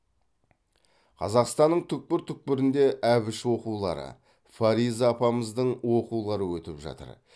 қазақстанның түкпір түкпірінде әбіш оқулары фариза апамыздың оқулары өтіп жатыр